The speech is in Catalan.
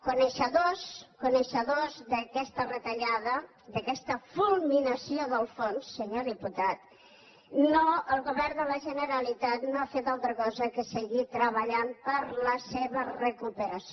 coneixedors coneixedors d’aquesta retallada d’aquesta fulminació del fons senyor diputat el govern de la generalitat no ha fet altra cosa que seguir treballant per a la seva recuperació